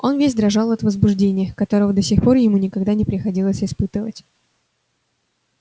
он весь дрожал от возбуждения которого до сих пор ему никогда не приходилось испытывать